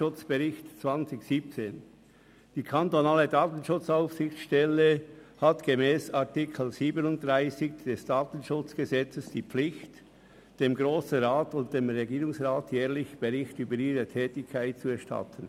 Die kantonale Datenschutzaufsichtsstelle (DSA) hat gemäss Artikel 37 des Datenschutzgesetzes vom 19. Februar 1986 (KDSG) die Pflicht, dem Grossen Rat und dem Regierungsrat jährlich Bericht über ihre Tätigkeit zu erstatten.